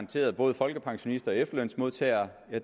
til både folkepensionister og efterlønsmodtagere